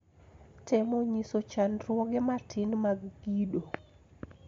Temo nyiso chandruoge matin mag kido